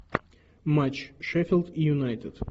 матч шеффилд юнайтед